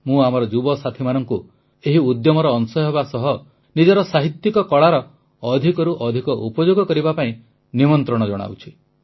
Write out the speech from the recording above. ମୁଁ ଆମର ଯୁବସାଥୀମାନଙ୍କୁ ଏହି ଉଦ୍ୟମର ଅଂଶ ହେବା ସହ ନିଜର ସାହିତ୍ୟିକ କଳାର ଅଧିକରୁ ଅଧିକ ଉପଯୋଗ କରିବା ପାଇଁ ନିମନ୍ତ୍ରଣ ଜଣାଉଛି